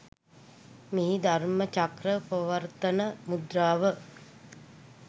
මෙහි ධර්ම චක්‍ර ප්‍රවර්තන මුද්‍රාව